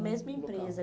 mesma empresa.